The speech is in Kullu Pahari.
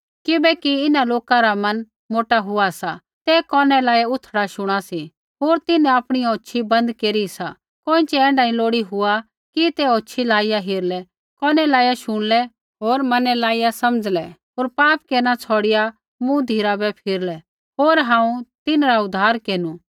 किबैकि इन्हां लोका रा मन मोटा हुआ सा ते कोनै लाइया उथड़ा शुणा सी होर तिन्हैं आपणी औछ़ी बन्द केरी सा कोइँछ़ै ऐण्ढा नी लोड़ी हुआ कि ते औछियै लाइया हेरलै कोनै लाइया शुणलै होर मनै लाइया समझ़लै होर पाप केरना छ़ौड़िआ मूँ धिराबै फिरलै होर हांऊँ तिन्हरा उद्धार केरनु